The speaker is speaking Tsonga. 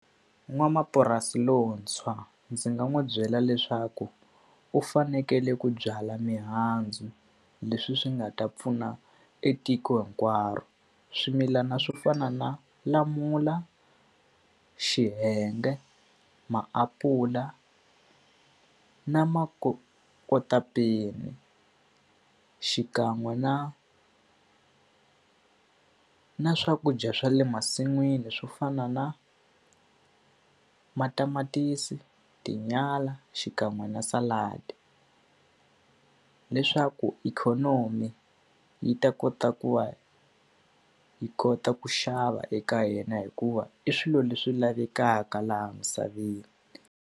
N'wamapurasi lontshwa ndzi nga n'wi byela leswaku u fanekele ku byala mihandzu, leswi swi nga ta pfuna etiko hinkwaro. Swimilana swo fana na lamula, xiyenge, maapula, na makotapeni. Xikan'we na na swakudya swa le masin'wini swo fana na matamatisi, tinyala, xikan'we na . Leswaku ikhonomi yi ta kota ku va yi kota ku xava eka yena, hikuva i swilo leswi lavekaka laha misaveni.